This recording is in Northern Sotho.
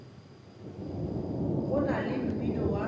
go na le mmino wa